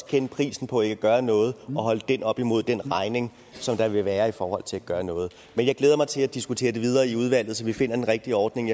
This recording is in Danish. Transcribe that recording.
kende prisen på ikke at gøre noget og holde det op imod den regning som der vil være i forhold til at gøre noget men jeg glæder mig til at diskutere det videre i udvalget så vi finder den rigtige ordning